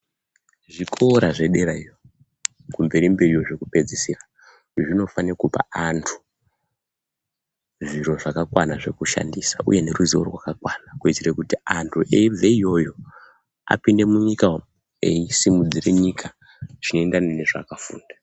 Zvikora zvedera iyo, kumberi mberi iyo zvekupedzisira, zvinofane kupa antu zviro zvakakwana zvekushandisa uye neruziwo rwakakwana kuitire kuti anhu eibve iyoyo, apinde munyika umwo eisimudze nyika zvinoenderana nezvaakafunda.